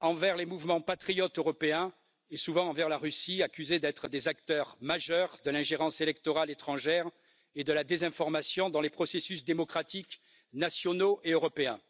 envers les mouvements patriotes européens et, souvent, envers la Russie, accusés d'être des acteurs majeurs de l'ingérence électorale étrangère et de la désinformation dans les processus démocratiques nationaux et européens.